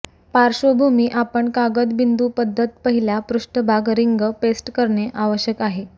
पार्श्वभूमी आपण कागद बिंदू पद्धत पहिल्या पृष्ठभाग रिंग पेस्ट करणे आवश्यक आहे